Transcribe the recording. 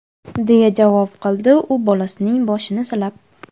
deya javob qildi u bolasining boshini silab.